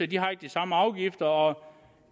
de har ikke de samme afgifter og